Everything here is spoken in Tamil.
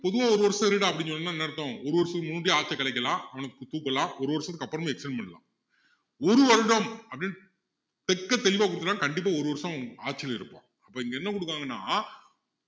பொதுவா ஒரு வருஷம் இருடா அப்படின்னு சொன்னா என்ன அர்த்தம் ஒரு வருஷத்துக்கு முன்னடியே ஆட்சியை கலைக்கலாம் அவனை தூக்கலாம் ஒரு வருஷத்துக்கு அப்புறமும் extend பண்ணலாம் ஒரு வருடம் அப்படின்னு தெக்கத்தெளிவா குடுத்துட்டா கண்டிப்பா ஒரு வருஷம் ஆட்சியில இருப்பான் இப்போ இங்க என்ன குடுக்காங்கன்னா